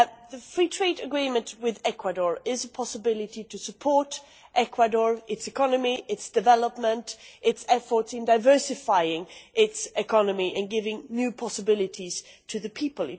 The free trade agreement with Ecuador is a possibility to support Ecuador, its economy, its development and its efforts in diversifying its economy and giving new possibilities to the people.